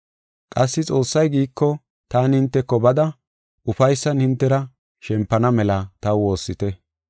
Qassi Xoossay giiko, taani hinteko bada ufaysan hintera shempana mela taw woossite.